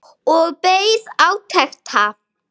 Og beið átekta.